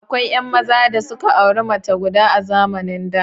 Akwai 'yan maza da suka auri mace guda a zamanin da.